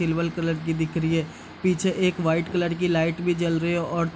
Silver colour की दिख रही है। पीछे एक वाइट कलर की लाइट भी जल रही है और --